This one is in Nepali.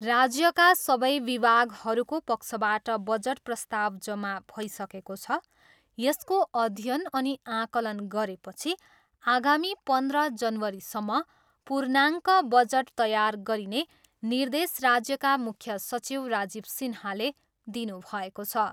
राज्यका सबै विभागहरूको पक्षबाट बजट प्रस्ताव जम्मा भइसकेको छ। यसको अध्ययन अनि आकलन गरेपछि आगामी पन्ध्र जनवरीसम्म पूर्णाङ्क बजट तयार गरिने निर्देश राज्यका मुख्य सचिव राजीव सिन्हाले दिनुभएको छ।